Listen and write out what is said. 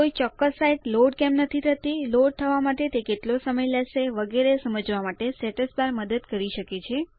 કોઈ ચોક્કસ site load કેમ નથી થતી લોડ થવા માટે તે કેટલો સમય લેશે વગેરે સમજવા માટે સ્ટેટસ બાર મદદ કરી શકે છે